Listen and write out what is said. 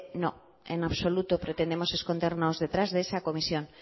no en absoluto pretendemos escondernos detrás de esa comisión